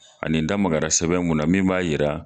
Ani n da magara sɛbɛn munna min b'a jira.